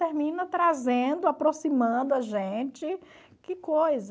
Termina trazendo, aproximando a gente, que coisa.